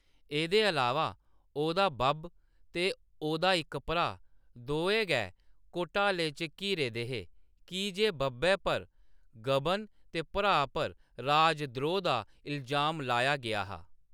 एह्‌‌‌दे अलावा, ओह्‌‌‌दा बब्ब ते ओह्‌‌‌दा इक भ्राऽ, दोऐ गै घोटाले च घिरे दे हे की जे बब्बै पर गबन ते भ्राऽ पर राजद्रोह् दा इलजाम लाया गेआ हा।